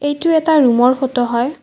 এইটো এটা ৰুমৰ ফটো হয়।